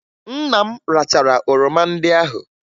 Nna m rachara oroma ndị ahụ